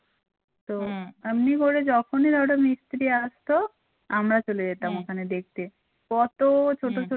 তো এমনি করে যখন ওটা মিস্ত্রি আসতো আমরা চলে যেতাম ওখানে দেখতে কত ছোট ছোট